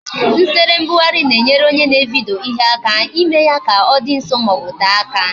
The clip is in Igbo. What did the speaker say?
Nsere mbugharị na-enyere onye na-evidyo ihe aka ime ya ka ọ dị nso maọbu tee aka